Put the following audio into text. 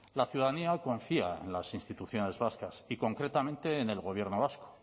la ciudadanía confía en las instituciones vascas y concretamente en el gobierno vasco